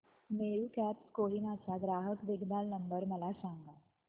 Meru cabs Kohima चा ग्राहक देखभाल नंबर मला सांगा